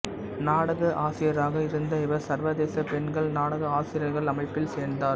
நாடக ஆசிரியராக இருந்த இவர் சர்வதேச பெண்கள் நாடக ஆசிரியர்கள் அமைப்பில் சேர்ந்தார்